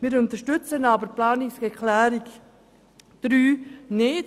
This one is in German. Die Planungserklärung 3 unterstützen wir aber nicht.